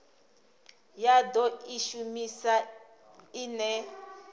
ya do i shumisa ine